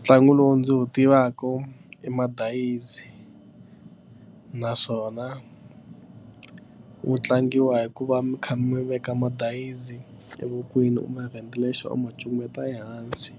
Ntlangu lowu ndzi wu tivaka i madayizi naswona wu tlangiwa hi ku va mi kha mi veka madayizi evokweni mi rent lexo ma cukumeta ehansi